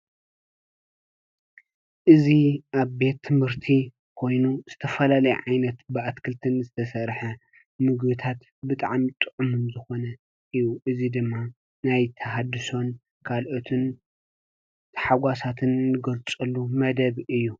እዚ ኣብ ቤት ትምህርቲ ኮይኑ ዝተፈላለየ ዓይነት ብኣትክልትን ዝተሰርሐ ምግቢታት ብጣዕሚ ጥዑም ዝኾነ እዩ። እዚ ድማ ናይ ተሃድሶን ካልኦትን ሓጎሳትን ንገልፀሉ መደብ እዩ።